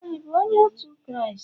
ị bụ onye otu Kraịst?